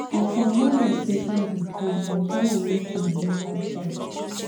as i no know sey im dey come i tell am make im wait outside